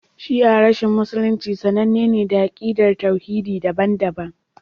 Shi'a reshen Musulunci sananne ne da akidar tauhidi daban-daban